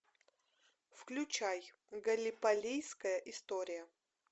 включай галлиполийская история